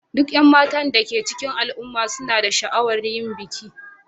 Duk 'yan matan da ke cikin al'umma suna da sha'awar yin aure